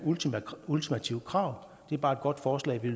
ultimativt krav det er bare et godt forslag vi